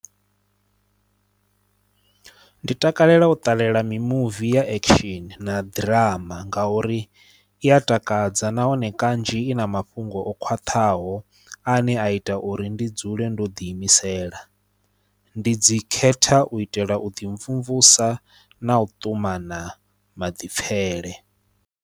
Ndi takalela u ṱalela mimuvi ya action na ḓirama ngauri iya takadza nahone kanzhi i na mafhungo o khwaṱhaho ane a ita uri ndi dzule ndo ḓi imisela. Ndi dzi khetha u itela u ḓimvumvusa na u ṱumana maḓipfhele.